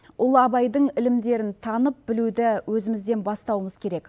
ұлы абайдың ілімдерін танып білуді өзімізден бастауымыз керек